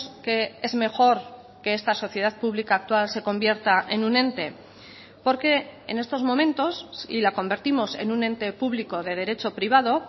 que es mejor que esta sociedad pública actual se convierta en un ente porque en estos momentos si la convertimos en un ente público de derecho privado